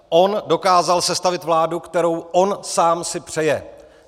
On dokázal sestavit vládu, kterou on sám si přeje.